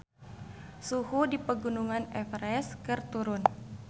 Suhu di Pegunungan Everest keur turun